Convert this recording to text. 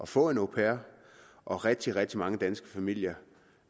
få en au pair og rigtig rigtig mange danske familier